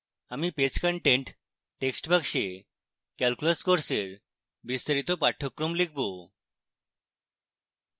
আমি page content text বাক্সে calculus কোর্সের বিস্তারিত পাঠ্যক্রম লিখবো